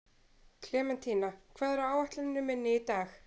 Klementína, hvað er á áætluninni minni í dag?